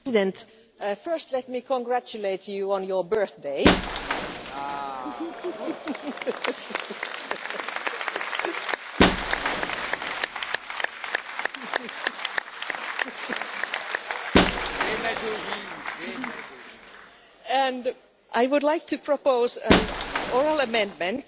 Mr President, first let me congratulate you on your birthday. I would like to propose an oral amendment,